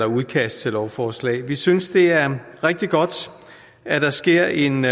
udkast til lovforslag vi synes det er rigtig godt at der sker en